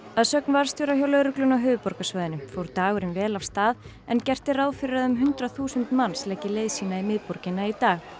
að sögn varðstjóra hjá lögreglunni á höfuðborgarsvæðinu fór dagurinn vel af stað en gert er ráð fyrir að um hundrað þúsund manns leggi leið sína í miðborgina í dag